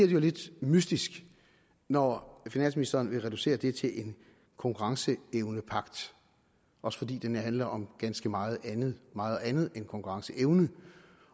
jo lidt mystisk når finansministeren vil reducere det til en konkurrenceevnepagt også fordi den handler om ganske meget andet meget andet end konkurrenceevne